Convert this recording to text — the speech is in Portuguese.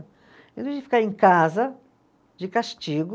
Em vez de ficar em casa, de castigo